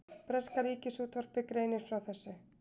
Breska ríkisútvarpið greinir frá þessu